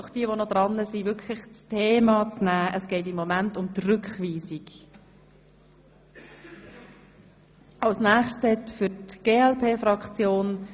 Ich bitte, jene, welche noch sprechen werden, sich wirklich auf das Thema zu beschränken.